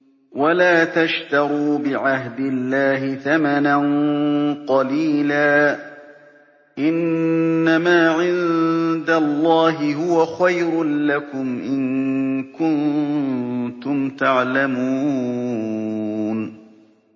وَلَا تَشْتَرُوا بِعَهْدِ اللَّهِ ثَمَنًا قَلِيلًا ۚ إِنَّمَا عِندَ اللَّهِ هُوَ خَيْرٌ لَّكُمْ إِن كُنتُمْ تَعْلَمُونَ